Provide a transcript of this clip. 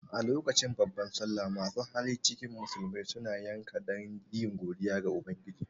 A lokacin babbar sallah masu hali cikin musulmai suna yanka dan yi godiya ga ubangiji